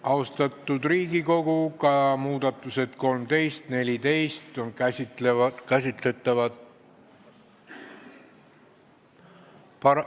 Austatud Riigikogu, ka muudatusettepanekud nr 13 ja 14 on käsitletavad ...